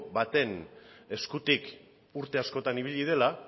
baten eskutik urte askotan ibili dela